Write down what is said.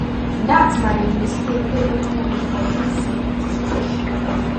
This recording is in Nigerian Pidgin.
dat na di mistake wey open room for dis security situation now